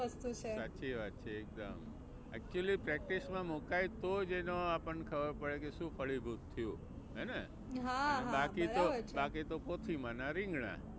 વસ્તુ છે સાચી વાત છે એકદમ. Actually practice માં મુકાય તો જ એનો આપણને ખબર પડે કે શું ફળીભૂત થયું હે ને. બાકી તો બાકી તો કોઠી માના રીંગણાં.